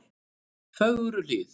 Fögruhlíð